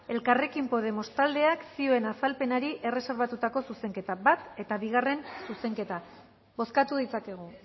elkarrekin podemos taldeak zioen azalpenari erreserbatutako zuzenketa bat eta bigarrena zuzenketa bozkatu ditzakegu